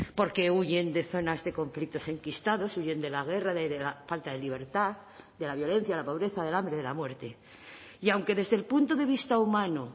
porque huyen de zonas de conflictos enquistados huyend de la guerra de la falta de libertad de la violencia la pobreza del hambre de la muerte y aunque desde el punto de vista humano